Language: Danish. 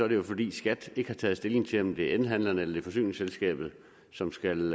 det jo fordi skat ikke har taget stilling til om det er elhandlerne eller det er forsyningsselskabet som skal